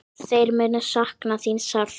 Þeir munu sakna þín sárt.